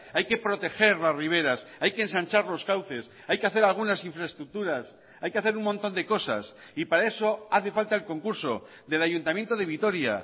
hay que proteger las riveras hay que ensanchar los cauces hay que hacer algunas infraestructuras hay que hacer un montón de cosas y para eso hace falta el concurso del ayuntamiento de vitoria